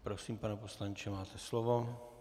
Prosím, pane poslanče, máte slovo.